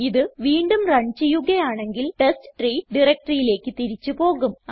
ഇത് വീണ്ടും റൺ ചെയ്യുകയാണെങ്കിൽ ടെസ്റ്റ്രീ directoryയിലേക്ക് തിരിച്ച് പോകും